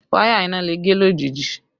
Wáyà iná le gé lójijì